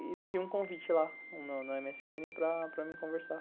E tinha um convite lá, no eme ese ene, para me conversar.